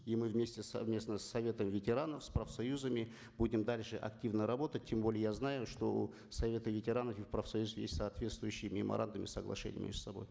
и мы вместе совместно с советом ветеранов с профсоюзами будем дальше активно работать тем более я знаю что у совета ветеранов и профсоюзов есть соответствующие меморандумы и соглашения между собой